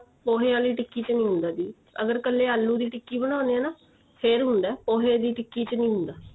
ਪੋਹੇ ਵਾਲੀ ਟਿੱਕੀ ਚ ਨਹੀਂ ਹੁੰਦਾ ਜੀ ਅਗਰ ਕੱਲੇ ਆਲੂ ਦੀ ਟਿੱਕੀ ਬਣਾਉਣੇ ਏ ਨਾ ਫੇਰ ਹੁੰਦਾ ਪੋਹੇ ਦੀ ਟਿੱਕੀ ਚ ਨੀਂ ਹੁੰਦਾ